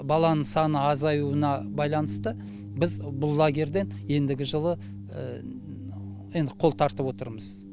баланың саны азаюына байланысты біз бұл лагерьден ендігі жылы енді қол тартып отырмыз